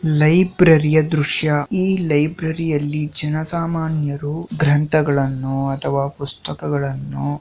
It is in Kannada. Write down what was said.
ಲೈಬ್ರರಿ ಯ ದೃಶ್ಯ. ಈ ಲೈಬ್ರರಿಯಲ್ಲಿ ಜನಸಾಮಾನ್ಯರು ಗ್ರಂಥಗಳನ್ನು ಅಥವಾ ಪುಸ್ತಕಗಳನ್ನು